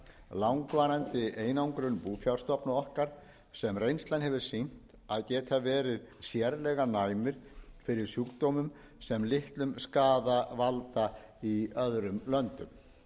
langvarandi einangrun búfjárstofna okkar sem reynslan hefur sýnt að geta verið sérlega næmir fyrir sjúkdómum sem litlum skaða valda í öðrum löndum